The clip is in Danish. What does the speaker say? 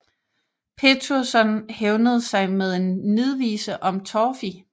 Pétursson hævnede sig med en nidvise om Torfi